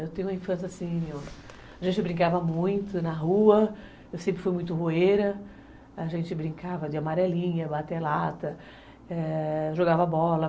Eu tenho uma infância assim, a gente brincava muito na rua, eu sempre fui muito roeira, a gente brincava de amarelinha, bater lata, jogava bola.